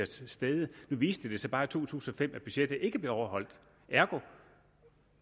til stede nu viste det sig bare i to tusind og fem at budgettet ikke blev overholdt ergo